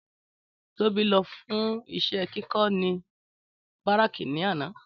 Tóbi lọ fún iṣẹ́ kíkó ní Bárákì ní àná